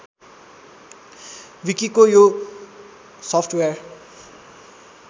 विकिको यो सफ्टवेयर